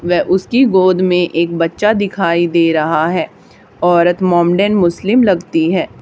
वे उसकी गोद में एक बच्चा दिखाई दे रहा है औरत मोमडन मुस्लिम लगती है।